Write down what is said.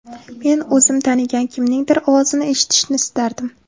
Men o‘zim tanigan kimningdir ovozini eshitishni istardim.